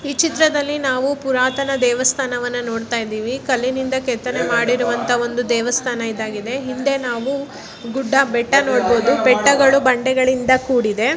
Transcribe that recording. ಈ ಚಿತ್ರದಲ್ಲಿ ನಾವು ಪುರಾತನ ದೇವಸ್ಥಾನ ವನ್ನ ನೋಡಿತಾಇದಿವಿ ಕಲಿನಿಂದ ಕೇತನೆ ಮಾಡಿರುವಂತ ದೇವಸ್ಥಾನ ಇದಾಗಿದೆ ಹಿಂದೆ ನಾವು ಗುಟ್ಟ ಬೆಟ್ಟಗಳನ್ನು ನಾವು ನೋಡಬಹುದು.